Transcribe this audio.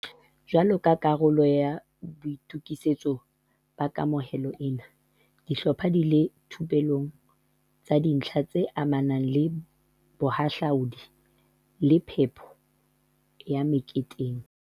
Jwalo ka karolo ya boito kisetso ba kamohelo ena, di hlopha di ile dithupellong tsa dintlha tse amanang le bohahlaudi le phepo ya me keteng.